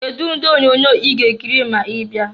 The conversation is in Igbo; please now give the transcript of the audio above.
Kedu ụdị onyoonyo ị ga-achọ ikiri ma ị bịa?